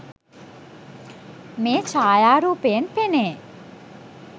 මේ ඡායාරූපයෙන් පෙනේ